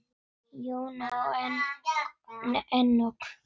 Jóna og Enok.